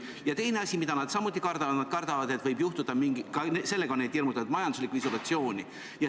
Ja teine asi, mida nad kardavad – ka sellega on neid hirmutatud –, on majanduslik isolatsioon.